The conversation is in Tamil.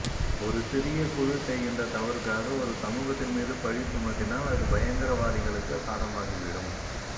ஒரு சிறிய குழு செய்கின்ற தவறுக்காக ஒரு சமூகத்தின் மீது பலி சுமத்தினால் அது பயங்கர வாதிகளுக்கு சாதமாகிவிடும்